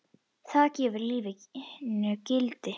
Það gefur lífinu gildi.